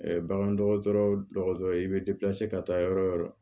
bagan dɔgɔtɔrɔ dɔgɔtɔrɔ ye i bɛ ka taa yɔrɔ o yɔrɔ